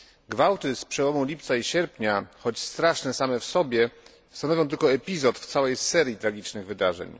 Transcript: Gwałty z przełomu lipca i sierpnia, choć straszne same w sobie, stanowią tylko epizod w całej serii tragicznych wydarzeń.